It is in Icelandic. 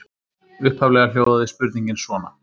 Upphaflega hljóðaði spurningin svona: